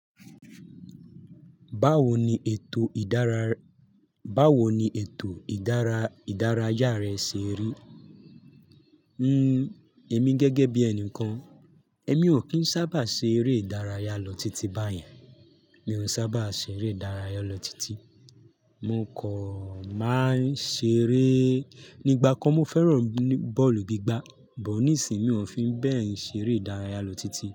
Báwo ni ètò ìdárayá rẹ ṣe rí? Hmm, èmi gẹ́gẹ́ bí ẹni kan, èmi ò kí ń sábà ṣe eré ìdárayá lọ titi báyẹn. Mi ò sábà ṣe eré ìdárayá lọ titi. Mo kò máa ń ṣe eré nígbà kan mo fẹ́ràn bọ́ọ̀lù gbígbá, bọ̀ ní ìsinmi ò fi ń bẹ́ẹ̀ ṣeré ìdárayá lọ titi.